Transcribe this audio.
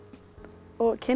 og kynna